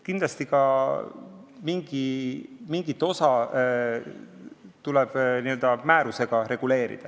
Kindlasti tuleb mingit osa ka määrusega reguleerida.